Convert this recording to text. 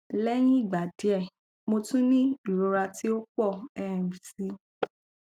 lẹhin igba diẹ mo tun ni irora ti o pọ um si